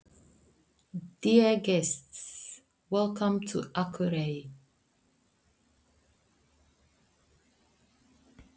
Kæru gestir! Velkomnir til Akureyrar.